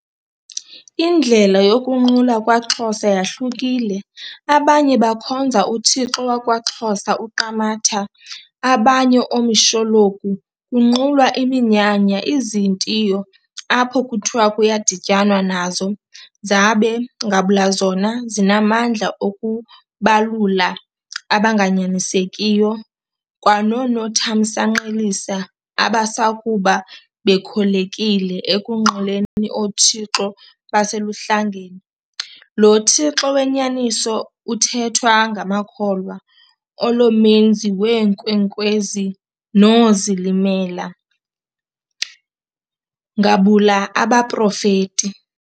Indlela yokunqula kwaXhosa yahlukile abanye bakhonza uthixo wakwa xhosa UQamatha, abanye omishologu, kunqulwa iminyanya ,izintio apho kuthiwa kuyadityanwa nazo, zabe, ngabula zona, zinamandla okubabulala abanganyanisekiyo kwanonokuthamsanqelisa abasakuba bekholekile ekunquleni oothixo beseluHlangeni. Lo Thixo wenyaniso uthethwa ngamakholwa olo menzi weenkwenkwezi noozilimela, ngabula abaProfeti.